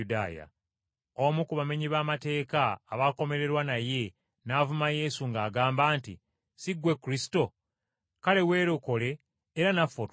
Omu ku bamenyi b’amateeka abaakomererwa naye n’avuma Yesu ng’agamba nti, “Si ggwe Masiya? Kale weerokole era naffe otulokole.”